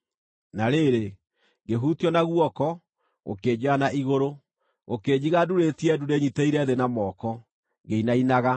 Na rĩrĩ, ngĩhutio na guoko, gũkĩnjoya na igũrũ, gũkĩnjiga ndũrĩtie ndu ndĩnyiitĩrĩire thĩ na moko, ngĩinainaga.